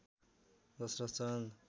Dasharath Chand